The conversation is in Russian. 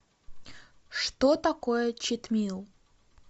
что такое читмил